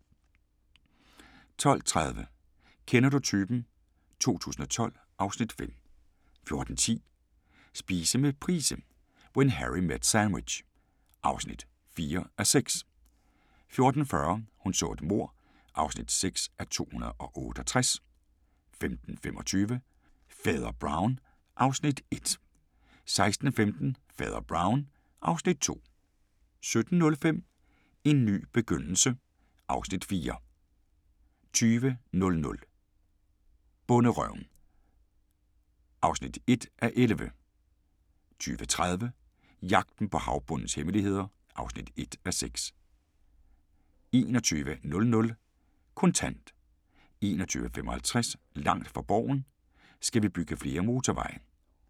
12:30: Kender du typen? 2012 (Afs. 5) 14:10: Spise med Price – When Harry met sandwich (4:6) 14:40: Hun så et mord (6:268) 15:25: Fader Brown (Afs. 1) 16:15: Fader Brown (Afs. 2) 17:05: En ny begyndelse (Afs. 4) 20:00: Bonderøven (1:11) 20:30: Jagten på havbundens hemmeligheder (1:6) 21:00: Kontant 21:55: Langt fra Borgen: Skal vi bygge flere motorveje?